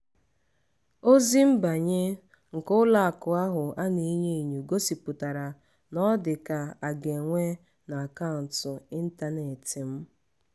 ozi nbanye nke ụlọ akụ ahụ ana-enyo enyo gosipụtara na ọ dịka aga enwe n'akaụntụ ịntanetị m.